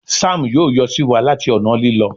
Sam yóò yọ siwa láti ọnà Lílọ